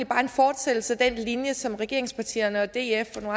bare en fortsættelse af den linje som regeringspartierne og df og